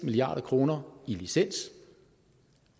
milliard kroner i licens